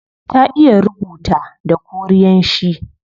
Ta iya rubuta da korean shi